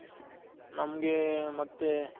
ನಮ್ಗೆ ಮತ್ತೆ